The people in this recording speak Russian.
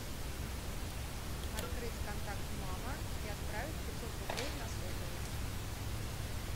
открыть контакт мама и отправить пятьсот рублей на сотовый